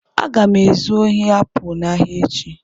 Aga m ezu ohi apụl n'ahịa echi.